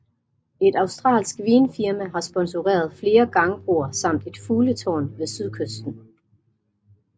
Et australsk vinfirma har sponsoreret flere gangbroer samt et fugletårn ved sydkysten